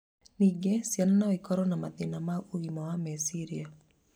Ningĩ ciana no ikorũo na mathĩna ma ũgima wa meciria